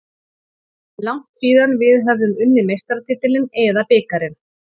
Langt síðan við höfðum unnið meistaratitilinn eða bikarinn.